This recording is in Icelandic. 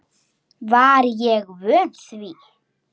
Var ég vön því?